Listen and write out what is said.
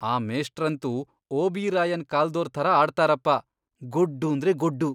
ಆ ಮೇಷ್ಟ್ರಂತೂ ಓಬಿರಾಯನ್ ಕಾಲ್ದೋರ್ ಥರ ಆಡ್ತಾರಪ.. ಗೊಡ್ಡೂಂದ್ರೆ ಗೊಡ್ಡು.